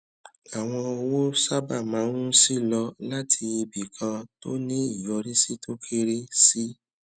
àwọn owó sábà máa ń ṣí lọ láti ibì kan tó ní ìyọrísí tó kéré sí